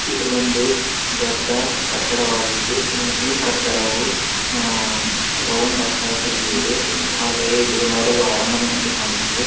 ಇದೊಂದು ದೊಡ್ಡ ಕಟ್ಟಡವಾಗಿದ್ದು ಈ ಕಟ್ಟಡವು ಅಹ್ ಅಹ್ ರೌಂಡ್ ಆಕಾರದ ಮೇಲೆ ಹಾಗೆ ಇದು ನೋಡಲು ಅರಮನೆ ಅಂತೇ ಕಾಣುತಿದೆ.